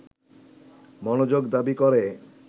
মনোযোগ দাবি করে